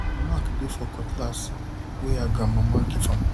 mark dey for the cutlass wey her grandmama give am